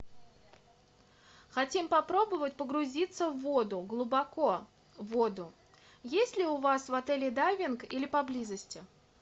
хотим попробовать погрузиться в воду глубоко в воду есть ли у вас в отеле дайвинг или поблизости